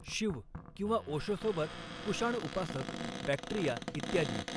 शिव ओशोसोबत कुषाण उपासक, बॅक्ट्रिया, इत्यादी